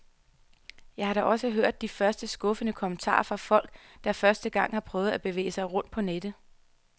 Jeg har da også hørt de første skuffede kommentarer fra folk, der for første gang har prøvet at bevæge sig rundt på nettet.